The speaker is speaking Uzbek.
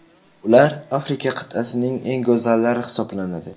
Ular Afrika qit’asining eng go‘zallari hisoblanadi.